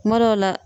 Kuma dɔw la